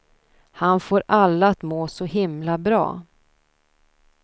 Han får alla att må så himla bra.